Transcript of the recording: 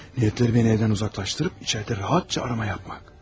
Niyyətləri məni evdən uzaqlaşdırıb içəridə rahatca axtarış etmək.